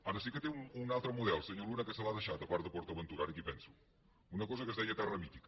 ara sí que té un altre model senyor luna que se l’ha deixat a part de port aventura ara que hi penso una cosa que es deia terra mítica